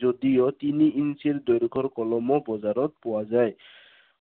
যদিও তিনি ইঞ্চিৰ দৈৰ্ঘৰ কলমো বজাৰত পোৱা যায়।